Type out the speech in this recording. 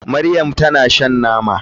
Maryam kamar shan nama.